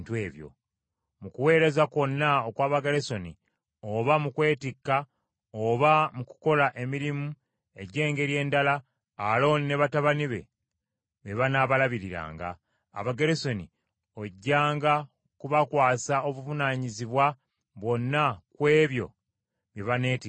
Mu kuweereza kwonna okw’Abagerusoni, oba mu kwetikka oba mu kukola emirimu egy’engeri endala, Alooni ne batabani be, be banaabalagiranga. Abagerusoni ojjanga kubakwasa obuvunaanyizibwa bwonna ku ebyo bye baneetikkanga.